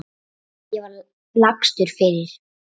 Ég var lagstur fyrir.